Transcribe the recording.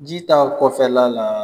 Ji t'a kɔfɛla la.